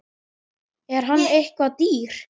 Er hann eitthvað dýr?